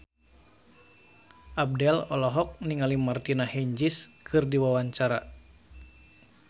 Abdel olohok ningali Martina Hingis keur diwawancara